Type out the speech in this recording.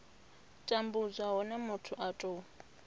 tambudzwa hune muthu a tou